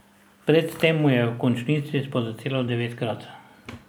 Pred tem mu je v končnici spodletelo devetkrat.